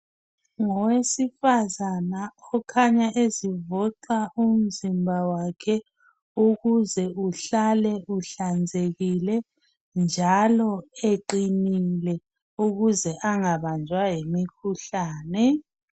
Ngowesifazane okhanya ezivoxa umzimba wakhe ukuze uhlale uhlanzekile njalo eqinile ukuze angabanjwa yimikhuhlane.